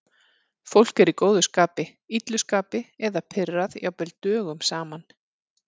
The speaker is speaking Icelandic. Fólk er í góðu skapi, illu skapi eða pirrað jafnvel dögum saman.